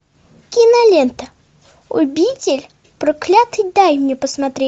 кинолента обитель проклятый дай мне посмотреть